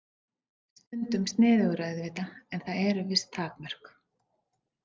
Stundum sniðugar auðvitað en það eru viss takmörk.